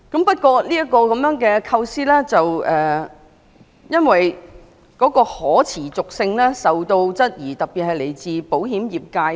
不過，這個構思的可持續性受到部分人士質疑，尤其是來自保險業界。